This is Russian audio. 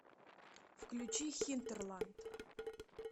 включи хинтерланд